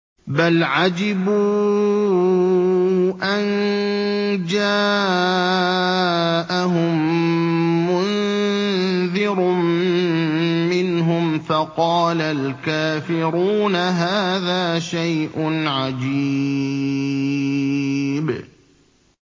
بَلْ عَجِبُوا أَن جَاءَهُم مُّنذِرٌ مِّنْهُمْ فَقَالَ الْكَافِرُونَ هَٰذَا شَيْءٌ عَجِيبٌ